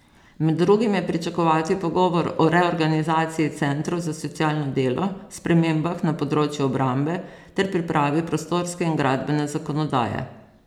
Med drugim je pričakovati pogovor o reorganizaciji centrov za socialno delo, spremembah na področju obrambe ter pripravi prostorske in gradbene zakonodaje.